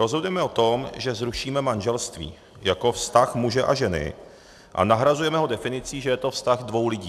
Rozhodujeme o tom, že zrušíme manželství jako vztah muže a ženy, a nahrazujeme ho definicí, že je to vztah dvou lidí.